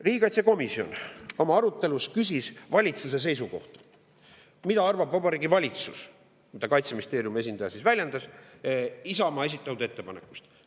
Riigikaitsekomisjon oma arutelu ajal küsis valitsuse seisukohta, mida arvab Vabariigi Valitsus – Kaitseministeeriumi esindaja seda väljendas – Isamaa esitatud ettepanekust.